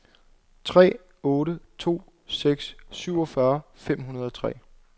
tre otte to seks syvogfyrre fem hundrede og tre